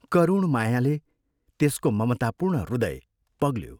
करुण मायाले त्यसको ममतापूर्ण हृदय पग्ल्यो।